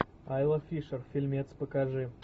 айла фишер фильмец покажи